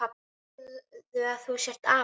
Segðu að þú sért api!